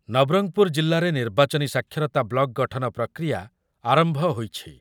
ନବରଙ୍ଗପୁର ଜିଲ୍ଲାରେ ନିର୍ବାଚନୀ ସାକ୍ଷରତା ବ୍ଲକ୍ ଗଠନ ପ୍ରକ୍ରିୟା ଆରମ୍ଭ ହୋଇଛି ।